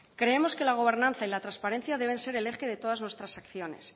creemos que la gobernanza y la transparencia deben ser el eje de todas nuestras acciones